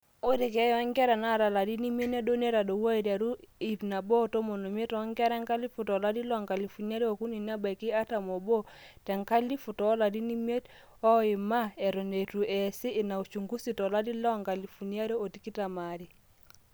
ore keeya oonkera naata ilarin imiet nedou netadouo aiteru 115 toonkera 1000 tolari le 2003 nebaiki 41 te 1000 toolarin imiet oima eton eitu eesi ina uchungusi tolari le 2022